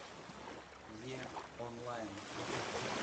е онлайн